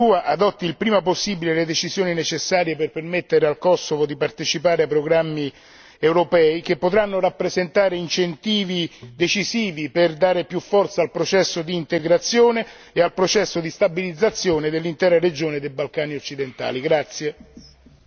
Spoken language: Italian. Il Consiglio, da parte sua, adotti il prima possibile le decisioni necessarie per permettere al Kosovo di partecipare ai programmi europei, che potranno rappresentare incentivi decisivi per dare più forza al processo di integrazione e al processo di stabilizzazione dell'intera regione dei Balcani occidentali.